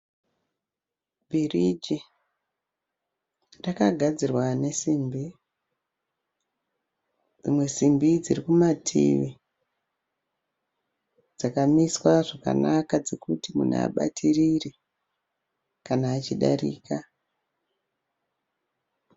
Bhiriji. Rakagadzirwa nesimbi. Dzimwe simbe dziri kumativi dzakamiswa zvakanaka dzekuti munhu abatirire kana achidarika.